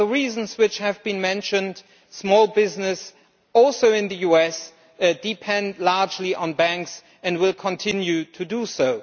For the reasons which have been mentioned, small businesses also in the US depend largely on banks and will continue to do so.